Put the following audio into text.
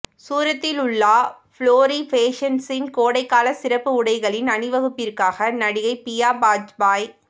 சூரத்திலுள்ளா Flory பேஷன்சின் கோடைகால சிறப்பு உடைகளின் அணிவகுப்பிற்காக நடிகை பியா பாஜ்பாய்